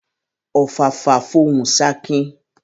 Ọ̀fàfà fọhùn ṣakin